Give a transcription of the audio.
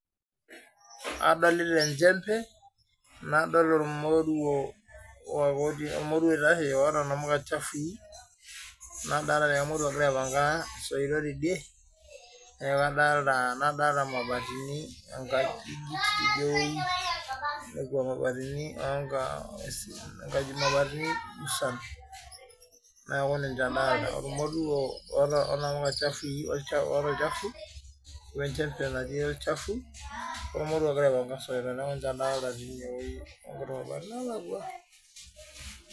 adolita enchempe nadolita ormoruo oota namuka chafui nadolita mabatini musan neaku ninche adolita ormoruo oota namuka chafui ormoruo ogira aipanga soitok ninche adolita tinewueji nalakwa